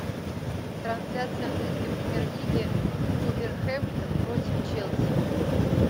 трансляция английской премьер лиги вулверхэмптон против челси